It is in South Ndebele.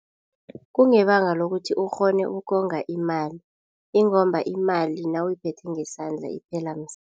Kungebanga lokuthi ukghone ukonga imali ingomba imali nawuyiphethe ngesandla iphela msinya.